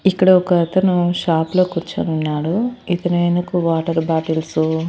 ఇక్కడ ఒక అతను షాప్ లో కూర్చోనున్నాడు ఇతని వెనుక వాటర్ బాటిల్సు --